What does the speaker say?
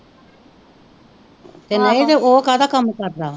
ਤੇ ਨਹੀਂ ਤੇ ਉਹ ਕਾਹਦਾ ਕੰਮ ਕਰਦਾ ਵਾ।